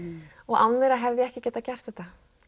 án þeirra hefði ég ekki geta gert þetta